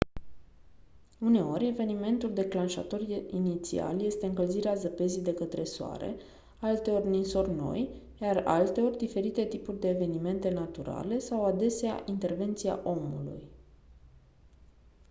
uneori evenimentul declanșator inițial este încălzirea zăpezii de către soare alteori ninsori noi iar alteori diferite tipuri de evenimente naturale sau adesea intervenția omului